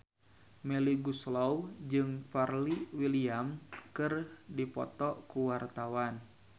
Melly Goeslaw jeung Pharrell Williams keur dipoto ku wartawan